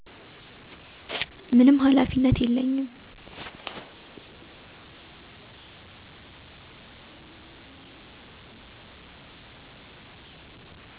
ምንም ሃላፊነት የለኝም